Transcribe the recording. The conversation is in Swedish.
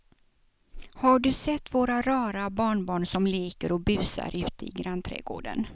Har du sett våra rara barnbarn som leker och busar ute i grannträdgården!